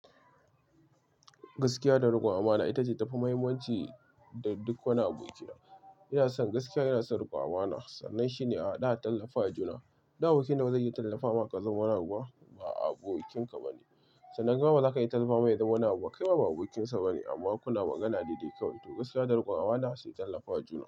Gaskiya da rikon amana ita ce tafi muhimmanci da duk wani abu ke da. Ina son gaskiya ina son riko amana. Sannan shine a hadu a tallafa wa juna. Da aboki nawa zai yi tallafa ma ka zama wani abu ba abokin ka ba ne. Sannan kaima ba zaka iya tallafa mai ya zama wani abu ba kaima ba abokinsa ba ne ba. Amma kuna magana daidai kawai. To gaskiya da rikon amana sai tallafa wa juna.